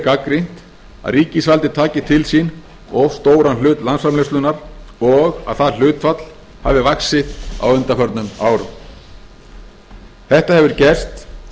gagnrýnt að ríkisvaldið taki til sín of stóran hluta landsframleiðslunnar og að það hlutfall hafi vaxið á undanförnum árum þetta hefur gerst